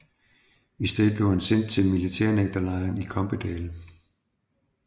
I stedet blev han sendt til militærnægterlejren i Kompedal